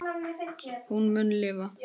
Hún mun lifa.